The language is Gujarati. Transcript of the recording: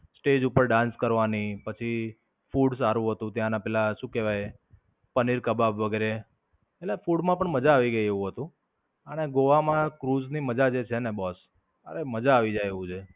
સ્ટેજ ઉપર dance કરવાની, પછી food પણ સારું હતું ત્યાંના પેલા શું કહેવાય પનીર કબાબ વગેરે. એટલે food માં પણ મજા આવી ગઈ એવું હતું. અને ગોવા માં ક્રુઝ ની મજા જે છેને boss અરે મજા આવી જાય તેવું છે.